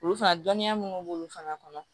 Olu fana dɔnniya minnu b'olu fana kɔnɔ